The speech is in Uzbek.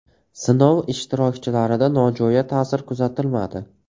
Sinov ishtirokchilarida nojo‘ya ta’sir kuzatilmadi.